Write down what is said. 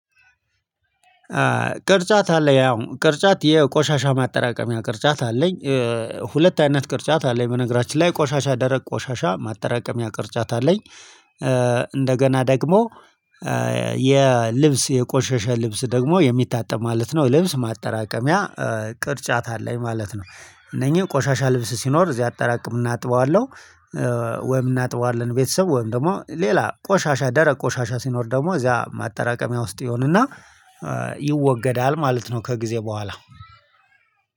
ቅርጫት አለኝ ያው ቅርጫት የቆሻሻ ማጠራቀሚያ ቅርጫት አለኝ። ሁለት አይነት ቅርጫት አለኝ በነገራችን ላይ ቆሻሻ ደረቅ ቆሻሻ ማጠራቀሚያ ቅርጫት አለኝ። እንደገና ደግሞ የልብስ የቆሸሸ ልብስ ደግሞ የሚታጠብ ማለት ነው። ልብስ ማጠራቀሚያ ቅርጫት አለኝ ማለት ነው። እነኚህ ቆሻሻ ልብስ ሲኖር እዚህ አጠራቀም እና አጥበዋለሁ ወይም እናጥበዋለን ቤተሰብ ወይም ደግሞ ሌላ ቆሻሻ ደረቅ ቆሻሻ ሲኖር ደግሞ እዚያ ማጠራቀሚያ ውስጥ ይሆንና ይወገዳል ማለት ነው ከጊዜ በኋላ